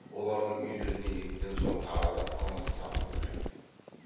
олардың үйлеріне еттен соң тағы да қымыз сапырылып еді